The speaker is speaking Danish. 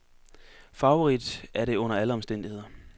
Farverigt er det under alle omstændigheder.